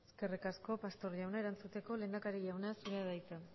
eskerrik asko pastor jauna erantzuteko lehendakari jauna zurea da hitza